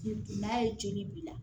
N'a ye joli b'i la